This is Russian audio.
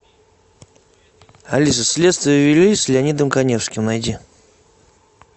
алиса следствие вели с леонидом каневским найди